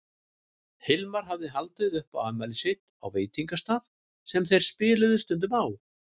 Hilmar hafði haldið upp á afmælið sitt á veitingastað sem þeir spiluðu stundum á.